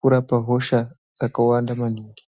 kurapa hosha dzakawanda maningi.